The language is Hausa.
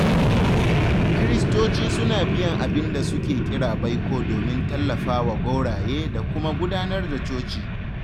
Kiristoci suna biyan abin da suke kira baiko domin tallafa wa gwauraye da kuma gudanar da coci.